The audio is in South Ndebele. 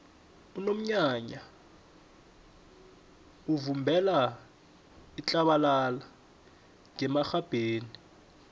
unomnyanya uvubela itlabalala ngemarhabheni